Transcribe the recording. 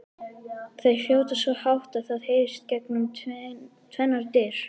Þau hrjóta svo hátt að það heyrist gegnum tvennar dyr!